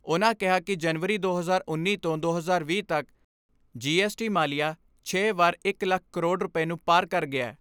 ਉਨ੍ਹਾਂ ਕਿਹਾ ਕਿ ਜਨਵਰੀ ਦੋ ਹਜ਼ਾਰ ਉੱਨੀ ਤੋਂ ਦੋ ਹਜ਼ਾਰ ਵੀਹ ਤੱਕ ਜੀ ਐਸ ਟੀ ਮਾਲੀਆ ਛੇ ਵਾਰ ਇਕ ਲੱਖ ਕਰੋੜ ਰੁਪੈ ਨੂੰ ਪਾਰ ਕਰ ਗਿਆ।